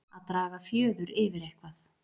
Að draga fjöður yfir eitthvað